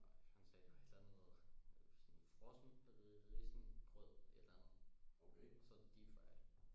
Nej han sagde det var et eller andet sådan frossen risengrød et eller andet og så deepfried